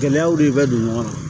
Gɛlɛyaw de bɛ don ɲɔgɔn na